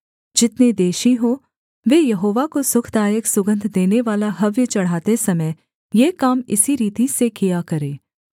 जितने देशी हों वे यहोवा को सुखदायक सुगन्ध देनेवाला हव्य चढ़ाते समय ये काम इसी रीति से किया करें